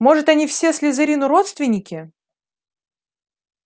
может они все слизерину родственники